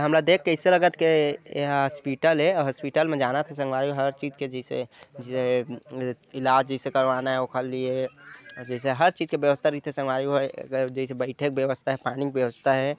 हमला देख के ऐसे लगत हे यह हास्पिटल ए अस्पताल मे जानात हच संगवारी हो हर चीज के जेसे य-आ- इलाज जैसे करवाना हो ओखर लिए जैसे बईथे के व्यवस्था हे पानी के व्यवस्था हे ।